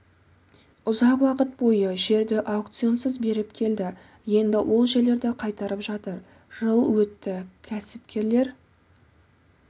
ұзақ уақыт бойы жерді аукционсыз беріп келді енді ол жерлерді қайтарып жатыр жыл өтті кәсіпкерлер